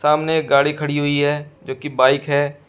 सामने एक गाड़ी खड़ी हुई है जो कि बाइक है।